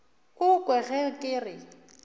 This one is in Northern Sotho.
o kwe ge ke re